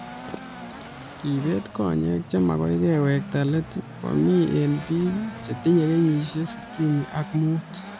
Kebeet konyeck che magoi kewekta let koo mii eng biik che tinyee kenyishek sitini ak mut